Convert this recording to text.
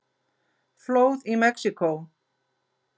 Flóð í Mexíkó